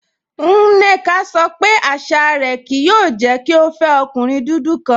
Nneka sọ pé àṣà rẹ kìí yòò jẹ́ kí o fẹ ọ̀kùnrin dúdú kan